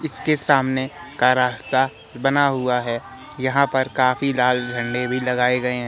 इसके सामने का रास्ता बना हुआ है यहां पर काफी लाल झंडे भी लगाए गये हैं।